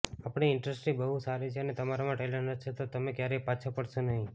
આપણી ઈન્ડસ્ટ્રી બહુ સારી છે અને તમારામાં ટેલેન્ટ હશે તો તમે ક્યારેય પાછા પડશો નહીં